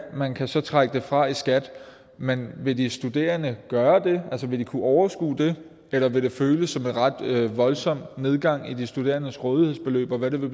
man kan så trække det fra i skat men vil de studerende gøre det altså vil de kunne overskue det eller vil det føles som en ret voldsom nedgang i de studerendes rådighedsbeløb hvad vil